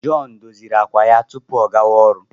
John doziri àkwà ya tupu ọ gawa ọrụ.